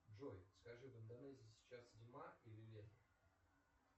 джой скажи в интернете сейчас зима или лето